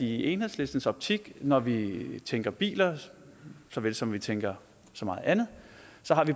i enhedslistens optik når vi tænker biler så vel som vi tænker så meget andet